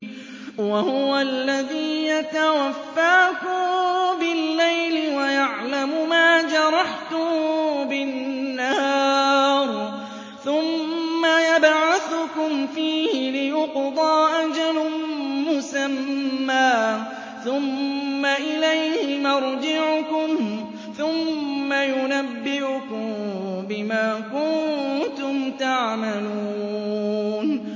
وَهُوَ الَّذِي يَتَوَفَّاكُم بِاللَّيْلِ وَيَعْلَمُ مَا جَرَحْتُم بِالنَّهَارِ ثُمَّ يَبْعَثُكُمْ فِيهِ لِيُقْضَىٰ أَجَلٌ مُّسَمًّى ۖ ثُمَّ إِلَيْهِ مَرْجِعُكُمْ ثُمَّ يُنَبِّئُكُم بِمَا كُنتُمْ تَعْمَلُونَ